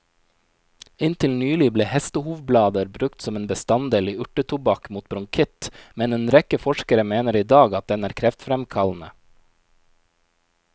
Inntil nylig ble hestehovblader brukt som en bestanddel i urtetobakk mot bronkitt, men en rekke forskere mener i dag at den er kreftfremkallende.